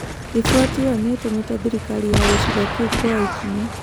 Riboti ĩyo nĩ ĩtũmĩte thirikari ya gĩcigo kĩu kuoya ikinya.